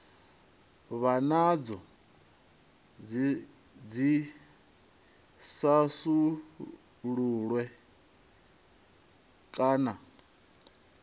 vha nadzo dzi thasululwe kana